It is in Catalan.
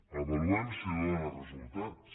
avaluem si dóna resultats